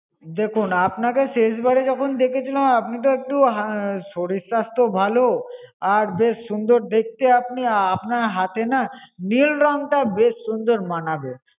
দেখুন, আপনাকে শেষবার যখন দেখেছিলাম, আপনি তো একটু শরীর স্বাস্থ্য ভালো আর বেশ সুন্দর দেখতে আপনি, আ~ আপনার হাতে না নীল রং টা বেশ সুন্দর মানাবে।